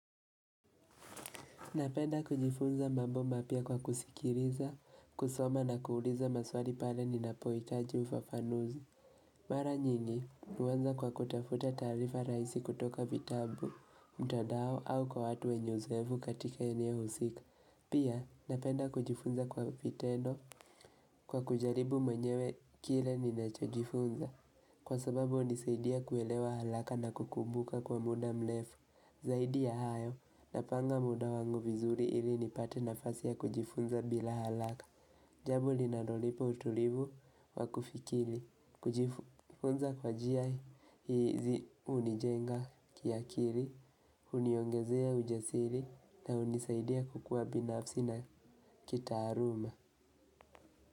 Napenda kujifunza mambo mapya kwa kusikilia, kusoma na kuuliza maswali pale ninapohitaji ufafanuzi. Mara nyingi, huanza kwa kutafuta taarifa rahisi kutoka vitabu, mtandao au kwa watu wenye uzoevu katika eneo husika. Pia, napenda kujifunza kwa vitendo kwa kujaribu mwenyewe kile ninacho chujifunza. Kwa sababu, hunisaidia kuelewa haraka na kukumbuka kwa muda mrefu. Zaidi ya hayo, napanga muda wangu vizuri ili nipate nafasi ya kujifunza bila haraka. Jambo linalonipa utulivu wa kufikiri. Kujifunza kwa njia, hizi hunijenga kakilii huniongezea ujasiri na hunisaidia kukuwa binafsi na kitaaluma.